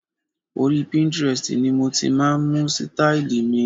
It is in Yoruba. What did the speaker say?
Orí Pinterest ni mo ti máa ń mú sítáílì mi.